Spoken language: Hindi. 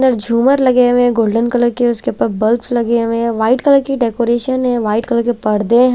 झूमर लगे हुए हैं गोल्डन कलर के उसके ऊपर बल्ब्स लगे हुए हैं व्हाइट कलर की डेकोरेशन है व्हाइट कलर के परदे हैं।